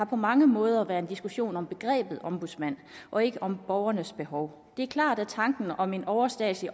på mange måder været en diskussion om begrebet ombudsmand og ikke om borgernes behov det er klart at tanken om en overstatslig